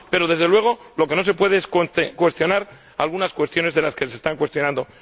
Pero, desde luego, lo que no se puede es cuestionar algunas cuestiones que se están cuestionando.